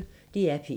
DR P1